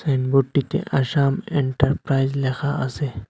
সাইনবোর্ডটিতে Assam enterprise লেখা আসে।